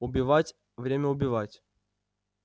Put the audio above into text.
убивать время убивать